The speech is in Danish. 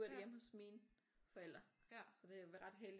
Nu er det hjemme hos mine forældre så det er ret heldigt